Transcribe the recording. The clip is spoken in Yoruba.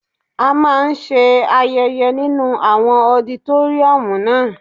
A máa ń ṣe ayẹyẹ nínu àwọn ọditóríọ̀mù naa